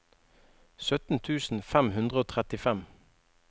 sytten tusen fem hundre og trettifem